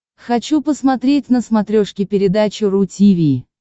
хочу посмотреть на смотрешке передачу ру ти ви